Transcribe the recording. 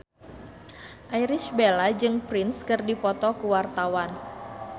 Irish Bella jeung Prince keur dipoto ku wartawan